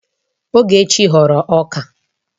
Ogechi ghọrọ ọka